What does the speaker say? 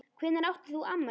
Hvenær átt þú afmæli?